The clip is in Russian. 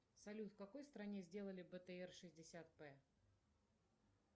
салют в какой стране сделали бтр шестьдесят п